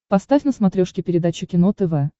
поставь на смотрешке передачу кино тв